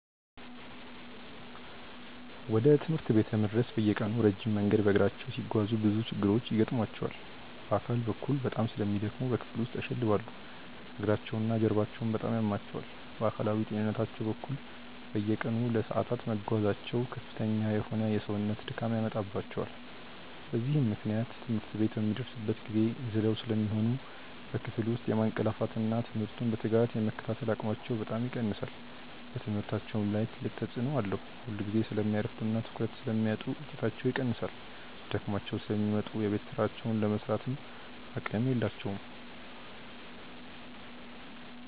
ወደ ትምህርት ቤት ለመድረስ በየቀኑ ረጅም መንገድ በእግራቸው ሲጓዙ ብዙ ችግሮች ይገጥሟቸዋል። በአካል በኩል በጣም ስለሚደክሙ በክፍል ውስጥ ያሸልባሉ፤ እግራቸውና ጀርባቸውም በጣም ያማቸዋል። በአካላዊ ጤንነታቸው በኩል፣ በየቀኑ ለሰዓታት መጓዛቸው ከፍተኛ የሆነ የሰውነት ድካም ያመጣባቸዋል። በዚህም ምክንያት ትምህርት ቤት በሚደርሱበት ጊዜ ዝለው ስለሚሆኑ በክፍል ውስጥ የማንቀላፋትና ትምህርቱን በትጋት የመከታተል አቅማቸው በጣም ይቀንሳል። በትምህርታቸውም ላይ ትልቅ ተጽዕኖ አለው፤ ሁልጊዜ ስለሚያረፍዱና ትኩረት ስለሚያጡ ውጤታቸው ይቀንሳል። ደክሟቸው ስለሚመጡ የቤት ሥራቸውን ለመሥራትም አቅም የላቸውም።